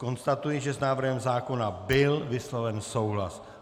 Konstatuji, že s návrhem zákona byl vysloven souhlas.